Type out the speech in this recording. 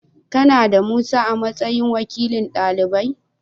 Ka naɗa Musa a matsayin wakilin ɗalibai.